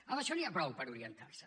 amb això n’hi ha prou per orientar se